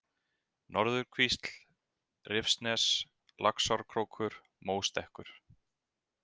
Norðurkvísl, Rifsnes, Laxárkrókur, Móstekkur